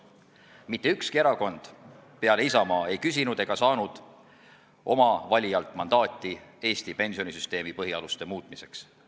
Mitte ükski erakond peale Isamaa ei küsinud ega saanud oma valijalt mandaati Eesti pensionisüsteemi põhialuste muutmiseks.